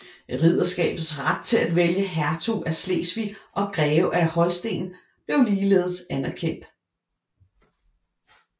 Ridderskabets ret til at vælge hertug af Slesvig og greve af Holsten blev ligeledes anerkendt